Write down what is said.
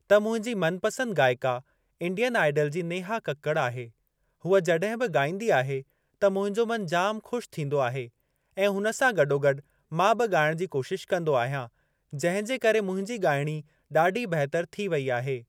त मुंहिंजी मनपसंदि गाइका इंडियन आइडल जी नेहा कक्कड़ आहे। हूअ जॾहिं बि ॻाईंदी आहे त मुंहिंजो मन जाम ख़ुशि थींदो आहे ऐं हुन सां गॾोगॾु मां बि ॻाइण जी कोशिश कंदो आहियां जंहिं जे करे मुंहिंजो ॻाइणी ॾाढी बेहतर थी वेई आहे।